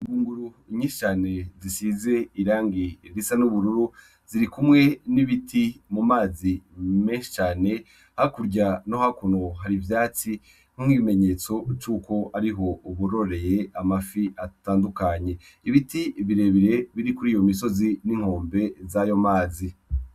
Imunguru inyishane zisize irangi risa n'ubururu ziri kumwe n'ibiti mu mazi meshane ha kurya no hakunu hari ivyatsi nk'mkw'ibimenyetso c'uko ari ho uburoreye amafi atandukanye ibiti birebire biri kuri iyo misozi n'inkombe z'ayo mazi.